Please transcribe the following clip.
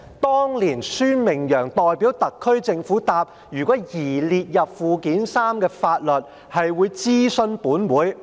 當年，孫明揚代表特區政府回答，如有擬列入附件三的法律，會諮詢本會。